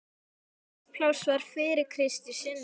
Mest pláss var fyrir Krist í sunnudagaskólanum.